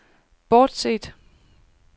bortset